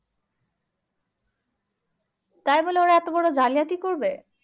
তাই বলে ওরা এতো বোরো জালিয়াতি করবে